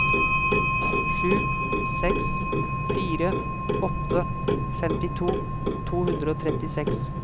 sju seks fire åtte femtito to hundre og trettiseks